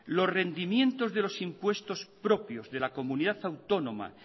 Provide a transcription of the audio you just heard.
los rendimientos de los impuestos propios de la comunidad autónoma